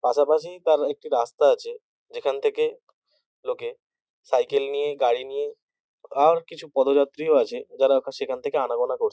পাশাপাশি তার একটি রাস্তা আছে। যেখান থেকে লোকে সাইকেল নিয়ে গাড়ি নিয়ে আর কিছু পদযাত্রীয় ও আছে যারা সেখান থেকে আনাগোনা করছে।